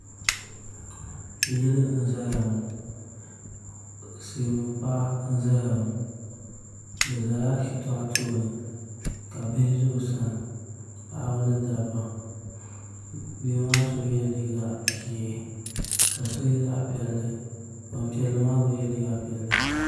Yili n ʒɛya ŋɔ silmiin paɣa n ʒɛya ŋɔ bi ʒɛla shitɔɣu tooni ka bihi ʒɛ o sani paɣaba ni dabba bihi maa so yɛla liiga ʒiɛ ka so yɛ zaɣ piɛlli Gbanpiɛli maa gba yɛla liiga ʒiɛ